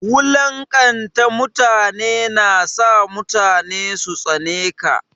Wulanƙanta mutane na sa mutane su tsane ka.